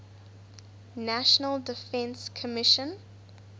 national defense commission